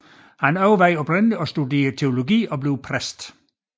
Han overvejede oprindeligt at studere teologi og blive præst